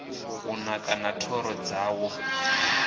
u naka na thoro dzawo